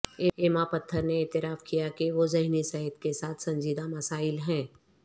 یما پتھر نے اعتراف کیا کہ وہ ذہنی صحت کے ساتھ سنجیدہ مسائل ہیں